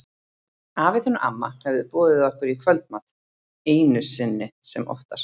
Afi þinn og amma höfðu boðið okkur í kvöldmat, einu sinni sem oftar.